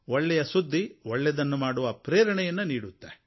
ಒಳ್ಳೆಯ ಸುದ್ದಿ ಒಳ್ಳೆಯದನ್ನು ಮಾಡುವ ಪ್ರೇರಣೆಯನ್ನು ನೀಡುತ್ತದೆ